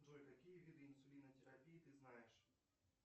джой какие виды инсулинотерапии ты знаешь